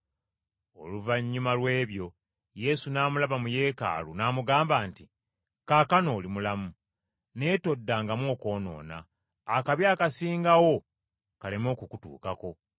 Oluvannyuma lw’ebyo Yesu n’amulaba mu Yeekaalu, n’amugamba nti, “Kaakano oli mulamu, naye toddangamu okwonoona, akabi akasingawo kaleme okukutuukako.”